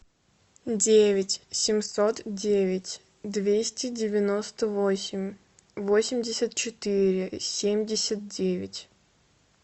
девять семьсот девять двести девяносто восемь восемьдесят четыре семьдесят девять